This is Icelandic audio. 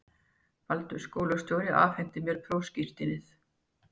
Baldur skólastjóri afhenti mér prófskírteinið.